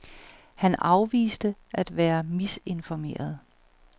Han afviste af være misinformeret.